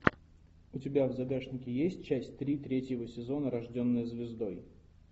у тебя в загашнике есть часть три третьего сезона рожденная звездой